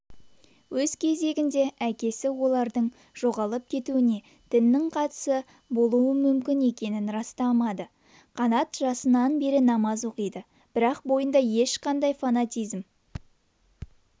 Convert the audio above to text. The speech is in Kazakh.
өз кезегінде әкесі олардың жоғалып кетуіне діннің қатысы болуы мүмкін екенін растамады қанат жасынан бері намаз оқиды бірақ бойында ешқашан фанатизм